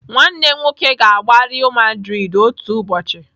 Nwanne m nwoke ga-agba Real Madrid otu ụbọchị.